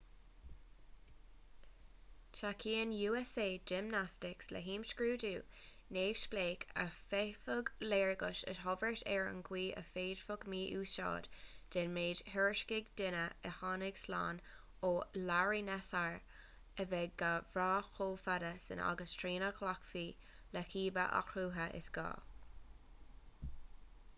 tacaíonn usa gymnastics le himscrúdú neamhspleách a d'fhéadfadh léargas a thabhairt ar an gcaoi a bhféadfadh mí-úsáid den mhéid a thuairiscigh daoine a tháinig slán ó larry nassar a bheith gan bhraith chomh fada sin agus trína nglacfaí le cibé athruithe is gá